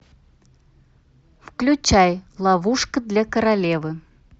включай ловушка для королевы